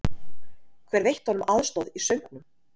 Hver veitti honum aðstoð í söngnum?